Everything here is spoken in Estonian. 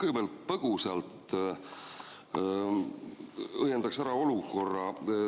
Ma kõigepealt põgusalt õiendaksin ära olukorra.